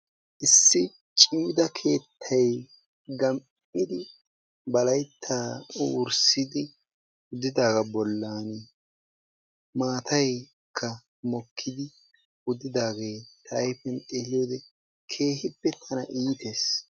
Issi ceega keettay gam"idi ba layttaa wurssidi kunddidaagaa bollaan maataykka mokkidi uttidagaa ta ayfiyaan xeelliyoode keehippe tana iitees.